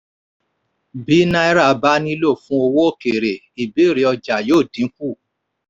bí náírà bá nílò fún owó òkèèrè ìbéèrè ọjà yóò dínkù.